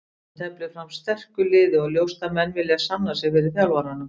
Ísland teflir fram sterku liði og ljóst að menn vilja sanna sig fyrir þjálfaranum.